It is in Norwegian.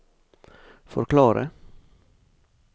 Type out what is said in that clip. forklare